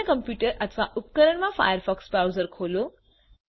અન્ય કમ્પ્યુટર અથવા ઉપકરણ માં ફાયરફોક્સ બ્રાઉઝર ખોલો